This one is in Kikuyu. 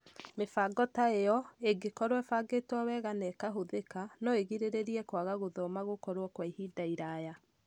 Mĩbango ta ĩyo, ĩngĩkorũo ĩbangĩtwo wega na ĩkaahũthĩka, no ĩgirĩrĩrie kwaga gũthoma gũkorwo kwa ihinda iraya.